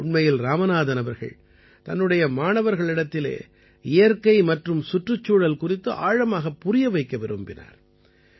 உண்மையில் இராமநாதன் அவர்கள் தன்னுடைய மாணவர்களிடத்திலே இயற்கை மற்றும் சுற்றுச்சூழல் குறித்து ஆழமாகப் புரியவைக்க விரும்பினார்